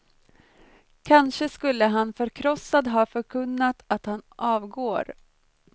Kanske skulle han förkrossad ha förkunnat att han avgår.